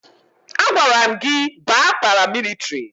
A gwara m gị baa paramilitiri!